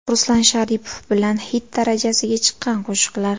Ruslan Sharipov bilan xit darajasiga chiqqan qo‘shiqlar .